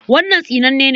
Wannan tsinanne ne.